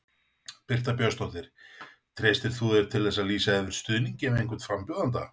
Birta Björnsdóttir: Treystir þú þér til að lýsa yfir stuðningi við einhvern frambjóðanda?